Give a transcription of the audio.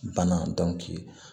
Banna